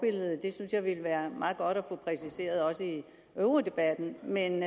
det synes jeg ville være meget godt at få præciseret også i eurodebatten men